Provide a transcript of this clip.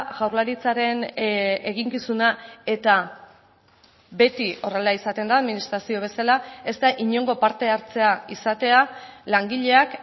jaurlaritzaren eginkizuna eta beti horrela izaten da administrazio bezala ez da inongo parte hartzea izatea langileak